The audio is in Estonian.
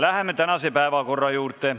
Läheme tänase päevakorra juurde.